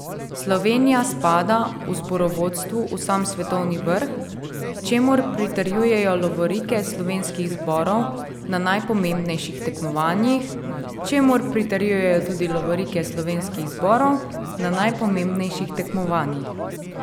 Slovenija spada v zborovstvu v sam svetovni vrh, čemur pritrjujejo lovorike slovenskih zborov na najpomembnejših tekmovanjih, čemur pritrjujejo tudi lovorike slovenskih zborov na najpomembnejših tekmovanjih.